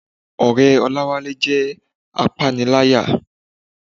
Ọ̀rẹ́ Olawale jẹ́ apániláyà.